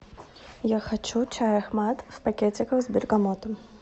я хочу чай ахмад в пакетиках с бергамотом